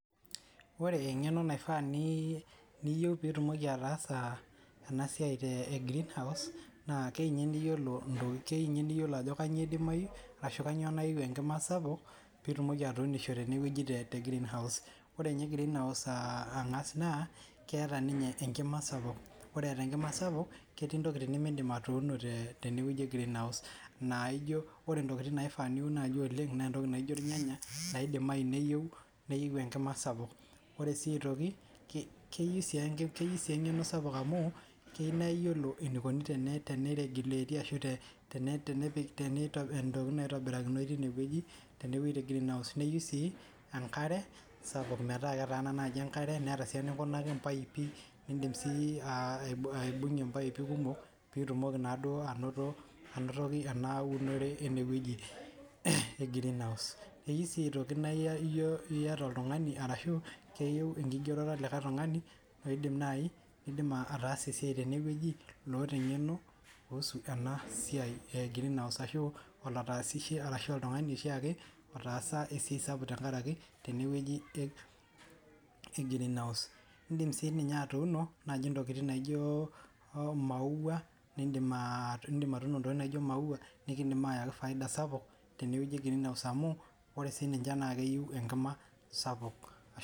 ore engeno naifaa niyieu pee itumoki ataasa ena siai e greenhouse naa kei nnye niyiolo ntoki, keei ninye niyiolo ajo kainyioo idimayu ashu kainyioo naiu enkima sapuk pee itumoki atuunisho tene wueji te greenhiuse ore ninye greenhouse ang'as naa keeta ninye enkima sapuk. ore enkima sapuk ketii ntokitin nemidim atuunie tene wueji e greenhousehttps naijo ore ntokitin naifaa niun naaji oleng najo irnyanya nidimayu neyieu enkima sapuk, ore sii aitoki keyieu sii engeno sapuk amu keyieu sii naa iyiolo enikoni tenei regulate ashu ntokitin naitobirainoyu teine wueji, tene wueji te greenhouse neyieu sii enkare sapuk metaa ketaana enkare, neeta sii eninkunaki irpaipi. nidim sii aibung'ie impaipi kumok, pee itumoki naaduo anoto anoto, ena unore ene wueji e greenhouse keyieu sii aitoki naa iyata oltungani arashu keyieu enkigeroto oltungani oidim naai oidim ataasa esiai tene wueji, lloota engeno kuusu ena siia e greenhouse ashu lataasishe ashu oltungani oshiake, otaasa esiai sapuk tenkaraki tene weuji e greenhouse idim sii ninye aitoki naijo maua nidim aatuuno ntokitn naijo maua nikidim aayaki faida sapuk tene wueji e greenhouse amu ore sii nince naa keyieu enkima sapuk.